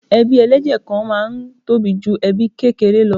Ebí ẹlẹ́jẹ̀ kan náà máa ń tóbi ju ẹbí kékeré lọ.